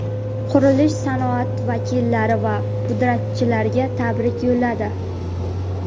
qurilish sanoati vakillari va pudratchilarga tabrik yo‘lladi.